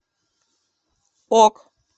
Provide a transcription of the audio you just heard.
ок